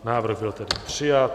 Návrh byl tedy přijat.